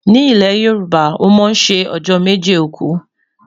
ní ilè yorùbá, wón má sé ọjọ méje òkú